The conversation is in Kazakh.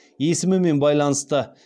есімімен байланысты